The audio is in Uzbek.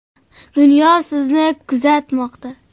Dunyo sizni kuzatmoqda.